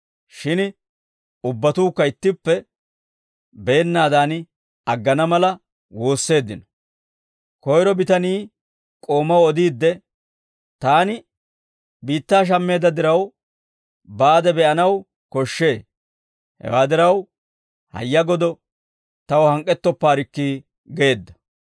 Shin ubbatuukka ittippe, beennaadan aggana mala woosseeddino; koyro bitanii k'oomaw odiidde, ‹Taani biittaa shammeedda diraw baade be'anaw koshshee; hewaa diraw hayya godo taw hank'k'ettoppaarikki› geedda.